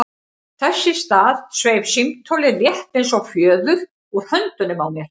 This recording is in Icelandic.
Þess í stað sveif símtólið, létt eins og fjöður, úr höndunum á mér.